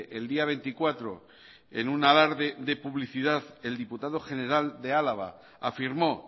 el día veinticuatro en un alarde de publicidad el diputado general de álava afirmó